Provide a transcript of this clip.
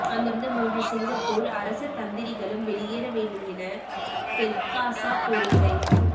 அந்த மூன்று சிங்கப்பூர் அரசதந்திரிகளும் வெளியேற வேண்டும் என பெர்க்காசா கோரிக்கை